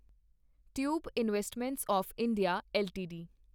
tube Investments of India LTD